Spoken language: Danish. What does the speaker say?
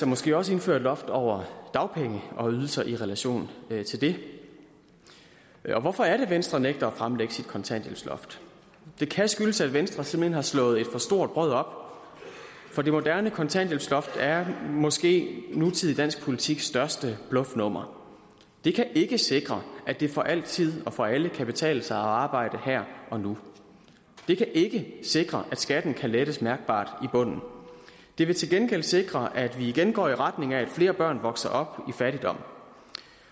måske også indføre et loft over dagpenge og ydelser i relation til det hvorfor er det at venstre nægter at fremlægge sit kontanthjælpsloft det kan skyldes at venstre simpelt hen har slået et for stort brød op for det moderne kontanthjælpsloft er måske nutidig dansk politiks største bluffnummer det kan ikke sikre at det for altid og for alle kan betale sig at arbejde her og nu det kan ikke sikre at skatten kan lettes mærkbart i bunden det vil til gengæld sikre at vi igen går i retning af at flere børn vokser op i fattigdom